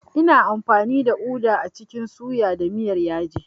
Ina amfani da uda a cikin suya da miyar yaji.